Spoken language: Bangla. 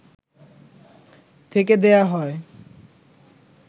থেকে দেয়া হয়